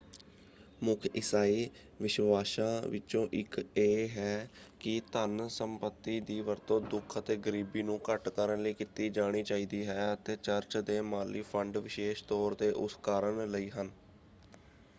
ਮੁੱਖ ਇਸਾਈ ਵਿਸ਼ਵਾਸ਼ਾਂ ਵਿਚੋਂ ਇਕ ਇਹ ਹੈ ਕਿ ਧਨ ਸੰਪੱਤੀ ਦੀ ਵਰਤੋਂ ਦੁਖ ਅਤੇ ਗਰੀਬੀ ਨੂੰ ਘੱਟ ਕਰਨ ਲਈ ਕੀਤੀ ਜਾਣੀ ਚਾਹੀਦੀ ਹੈ ਅਤੇ ਚਰਚ ਦੇ ਮਾਲੀ ਫੰਡ ਵਿਸ਼ੇਸ਼ ਤੌਰ 'ਤੇ ਉਸ ਕਾਰਨ ਲਈ ਹਨ।